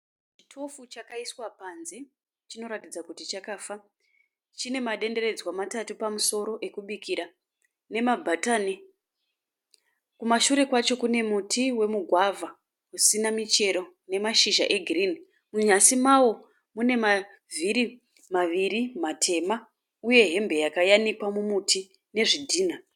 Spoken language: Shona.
Chitofu chakaiswa panze chinoratidza kuti chakafa. Chine madenderedzwa matatu pamusoro ekubikira nemabhatani. Kumashure kwacho kune muti wemugwavha usina michero nemashizha egirinhi. Munyasi mawo mune mavhiri maviri matema uye hembe yakayanikwa mumuti nezvidhinha.